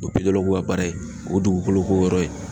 O ye ka baara ye. O dugukolo ko yɔrɔ ye.